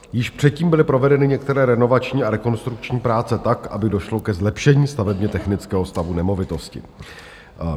Již předtím byly provedeny některé renovační a rekonstrukční práce tak, aby došlo ke zlepšení stavebně-technického stavu nemovitosti.